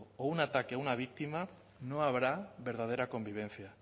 o un ataque a una víctima no habrá verdadera convivencia